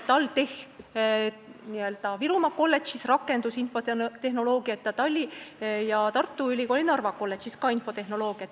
TalTechi Virumaa kolledžis õpetatakse rakendusinfotehnoloogiat ja Tartu Ülikooli Narva kolledžis ka infotehnoloogiat.